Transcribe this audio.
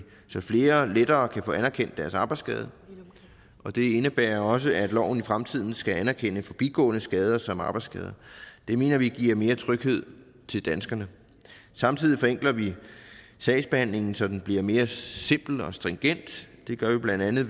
så flere lettere kan få anerkendt deres arbejdsskade og det indebærer også at loven i fremtiden skal anerkende forbigående skader som arbejdsskader det mener vi giver mere tryghed til danskerne samtidig forenkler vi sagsbehandlingen så den bliver mere simpel og stringent det gør vi bla ved